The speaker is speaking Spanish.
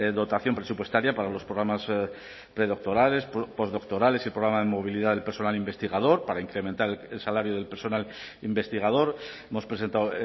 dotación presupuestaria para los programas predoctorales postdoctorales y programa de movilidad del personal investigador para incrementar el salario del personal investigador hemos presentado